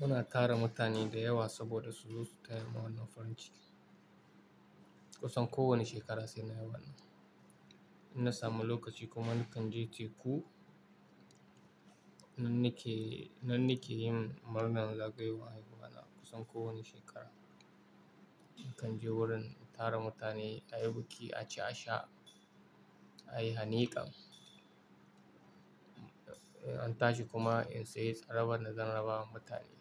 muna tara mutane da yawa saboda su zo su tayani murnan farin ciki. Kusan kowane shekara sai na haihuwa. In na samu lokaci kuma nakan je teku. Nan nike, nan nike yin murnar zagayowan haihuwa na kusan kowane shekara. Nakan je wurin tara mutane, a yi buki, a ci a sha, a yi hanikan, inna tashi kuma in sayi tsarabar nazan raba wa mutane.